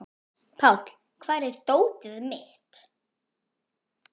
Páll, hvar er dótið mitt?